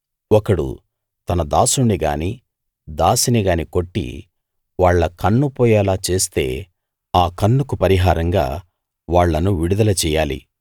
ఒకడు తన దాసుణ్ణి గానీ దాసిని గానీ కొట్టి వాళ్ళ కన్ను పోయేలా చేస్తే ఆ కన్నుకు పరిహారంగా వాళ్ళను విడుదల చెయ్యాలి